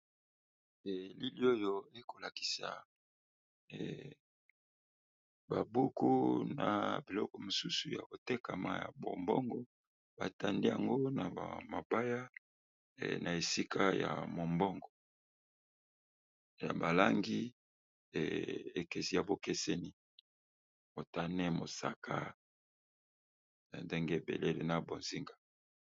Elili oyo eko lakisa ba buku na biloko mosusu ya kotekama ya bombongo ba tandi yango na ba mabaya na esika ya mombongo ya bal angi ekesi ya bokeseni motane, mosaka ndenge ébélé na bozinga .